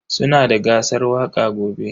Sunada gasar waƙa gobe.